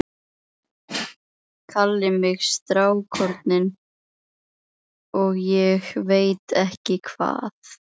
Kalli mig strákorminn og ég veit ekki hvað.